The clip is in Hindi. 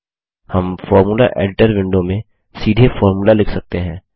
हम फॉर्मूला एडिटर विंडो में सीधे फॉर्मूला लिख सकते हैं